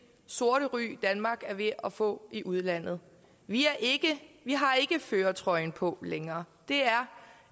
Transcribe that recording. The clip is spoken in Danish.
sorte ry danmark er ved at få i udlandet vi har ikke førertrøjen på længere det er